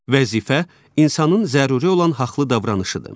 Vəzifə insanın zəruri olan haqlı davranışıdır.